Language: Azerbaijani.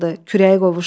Kürəyə qovuşdu.